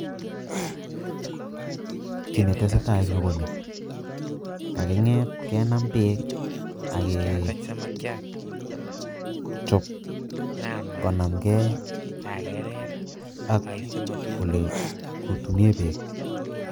Kii nee tesetai eng nyuu konii kakingeet kenam beek ak kee chob konamgei ak ole kutunei beek